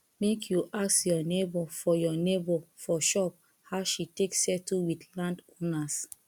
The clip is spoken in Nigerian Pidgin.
make you ask your nebor for your nebor for shop how she take settle wit landowners